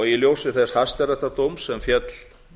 í ljósi þess hæstaréttardóms sem féll